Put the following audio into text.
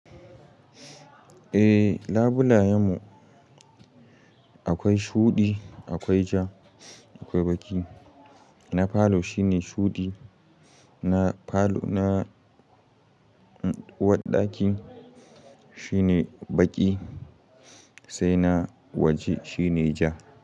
Eh labulaye mu akwai shuɗi, akwai ja, akwai baƙi. Na falo shine shuɗi, na falo na uwarɗaki shine baƙi sai na waje shine ja.